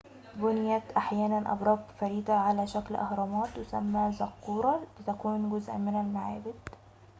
بُنيت أحيانًا أبراج فريدة على شكل أهرامات تسمى زقورة لتكون جزء من المعابد